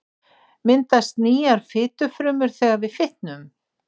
Myndast nýjar fitufrumur þegar við fitnum?